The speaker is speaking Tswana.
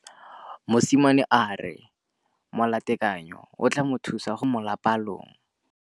Mosimane a re molatekanyô o tla mo thusa go bala mo molapalong.